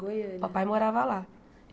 Goiania Papai morava lá.